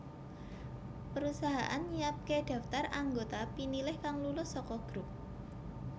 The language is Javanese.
Perusahaan nyiapké daftar anggota pinilih kang lulus saka grup